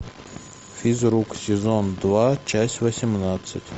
физрук сезон два часть восемнадцать